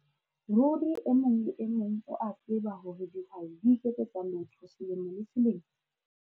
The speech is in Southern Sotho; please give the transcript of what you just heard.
Ruri e mong le e mong o a tseba hore dihwai di iketsetsa lotho selemo le selemo?